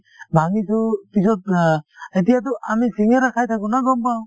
ভাঙিছো পিছত অ এতিয়াতো আমি শিঙিৰা খাই থাকো ন গম পাওঁ